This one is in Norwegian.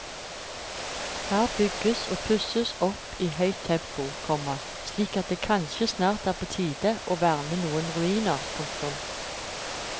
Her bygges og pusses opp i høyt tempo, komma slik at det kanskje snart er på tide å verne noen ruiner. punktum